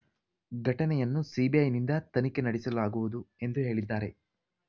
ಘಟನೆಯನ್ನು ಸಿಬಿಐನಿಂದ ತನಿಖೆ ನಡೆಸಲಾಗುವುದು ಎಂದು ಹೇಳಿದ್ದಾರೆ